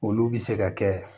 Olu bɛ se ka kɛ